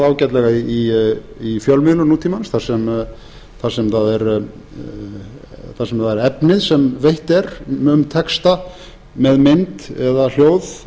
ágætlega í fjölmiðlun nútímans þar sem það er efnið sem veitt er um texta með mynd eða hljóð